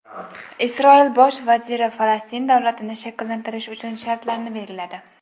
Isroil bosh vaziri Falastin davlatini shakllantirish uchun shartlarni belgiladi.